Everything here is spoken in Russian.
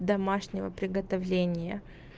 домашнего приготовления